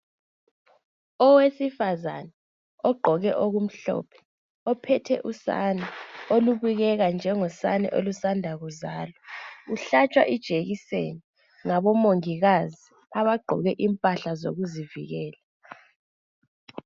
Owesifazane ogqoke okumhlophe ophethe usane olubukeka njengosane olusanda kuzalwa uhlatshwa ijekiseni ngabo omongikazi abagqoke impahla zokuzivikela